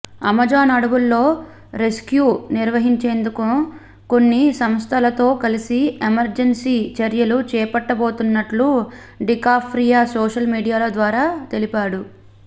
Amazon అడవుల్లో rescue నిర్వహించేందుకు కొన్ని సంస్థలతో కలసి ఎమర్జెన్సీ చర్యలు చేపట్టబోతున్నట్లు డికాప్రియో సోషల్ మీడియా ద్వారా తెలిపాడు